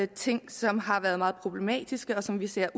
ting som har været meget problematiske og som vi ser